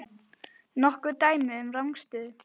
Nokkur dæmi um rangstöðu?